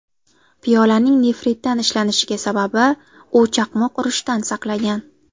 Piyolaning nefritdan ishlanishining sababi, u chaqmoq urishidan saqlagan.